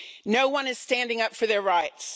No one is standing up for their rights.